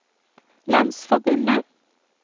landsforbundet